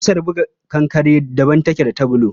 Ƙusar buga kankare daban take da ta bulu.